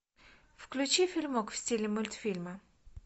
включи фильмок в стиле мультфильма